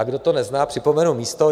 A kdo to nezná, připomenu místo.